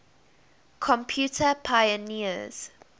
computer pioneers